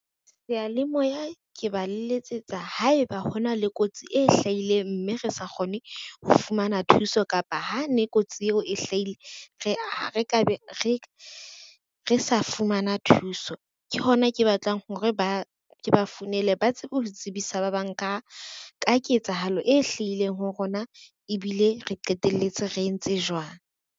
Seyalemoya ke ba letsetsa haeba hona le kotsi e hlahileng mme re sa kgone ho fumana thuso kapa ha ne kotsi eo e hlahile re sa fumana thuso. Ke hona ke batlang hore ke ba founele ba tsebe ho tsebisa ba bang ka ketsahalo e hlahileng ho rona, ebile re qeteletse re entse jwang.